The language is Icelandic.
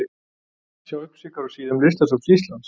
Sjá upplýsingar á síðum listasafns Íslands.